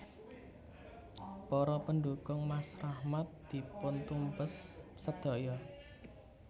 Para pendukung Mas Rahmat dipuntumpes sedaya